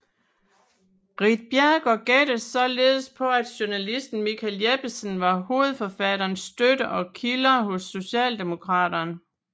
Ritt Bjerregaard gættede således på at journalisten Michael Jeppesen var hovedforfatteren støttet af kilder hos Socialdemokraterne